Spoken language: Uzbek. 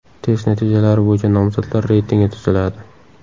Test natijalari bo‘yicha nomzodlar reytingi tuziladi.